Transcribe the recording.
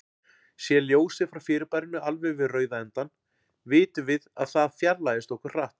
Sé ljósið frá fyrirbærinu alveg við rauða endann, vitum við að það fjarlægist okkur hratt.